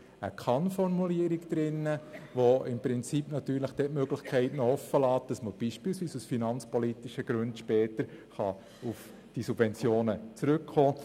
Er enthält eine Kann-Formulierung, die im Prinzip die Möglichkeit offenlässt, beispielsweise aus finanzpolitischen Gründen später auf diese Subventionen zurückzukommen.